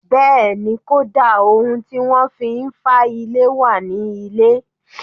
Bẹ́ẹ̀ni, kódà ohun tí wọ́n fi ń fá ilé wà ní ilé